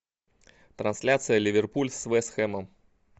трансляция ливерпуль с вест хэмом